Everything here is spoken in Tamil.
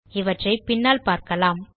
இவற்றை பின்னால் பார்க்கலாம்